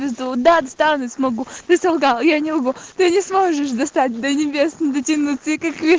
да достану смогу ты солгал я не лгу ты не сможешь достать до небес дотянуться